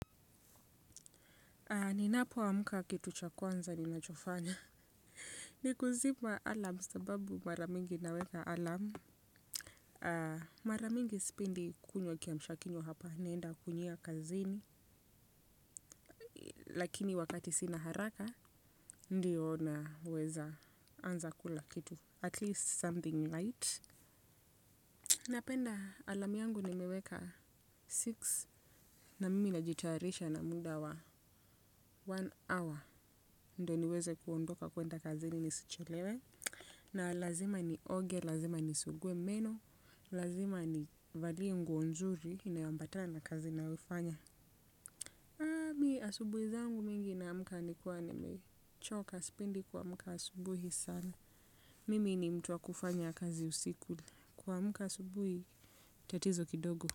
Ninapo amka kitu cha kwanza ninachofanya. Ni kuzima alarm sababu mara mingi naweka alarm. Mara mingi sipindi kunywa kiamsha kinywa hapa. Naenda kunywia kazini. Lakini wakati sina haraka. Ndiyo naweza anza kula kitu. At least something light. Napenda alam yangu nimeweka six. Na mimi najitayarisha na munda wa one hour. Ndo niweze kuondoka kuenda kazini nisichelewe. Na lazima nioge, lazima ni suguwe meno, lazima ni valie nguo nzuri inayambata na kazi nayofanya. Miki asubuhi zangu mingi naamuka ni kuwa ni mechoka spindi kwa muka asubuhi sana. Mimi ni mtu wa kufanya kazi usiku kwa muka asubuhi chatizo kidogo.